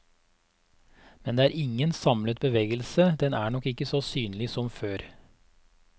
Men det er ingen samlet bevegelse, den er nok ikke så synlig som før.